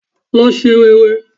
Lọ se rere